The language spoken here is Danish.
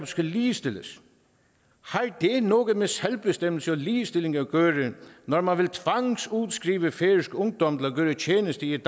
skal ligestilles har det noget med selvbestemmelse og ligestilling at gøre når man vil tvangsudskrive færøsk ungdom til at gøre tjeneste i et